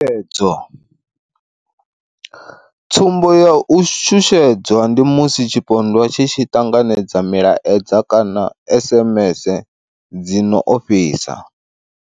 Tshutshedzo. Tsumbo ya u shushedzwa ndi musi tshipondwa tshi tshi ṱanganedza milaedza kana SMS dzi no ofhisa.